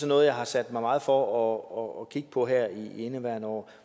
noget jeg har sat mig meget for at kigge på her i indeværende år